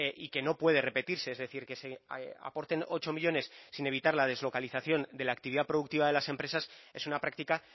y que no puede repetirse es decir que se aporten ocho millónes sin evitar la deslocalización de la actividad productiva de las empresas es una práctica